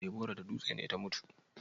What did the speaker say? Deborah da dutse ne ta mutu?